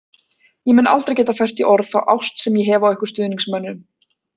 Ég mun aldrei geta fært í orð þá ást sem ég hef á ykkur stuðningsmönnum.